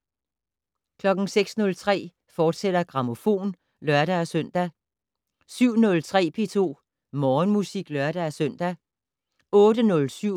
06:03: Grammofon, fortsat (lør-søn) 07:03: P2 Morgenmusik (lør-søn) 08:07: